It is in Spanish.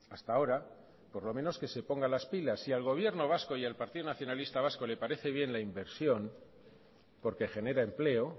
hasta ahora por lo menos que se ponga las pilas si al gobierno vasco y al partido nacionalista vasco le parece bien la inversión porque genera empleo